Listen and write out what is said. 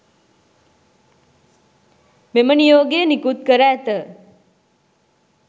මෙම නියෝගය නිකුත් කර ඇත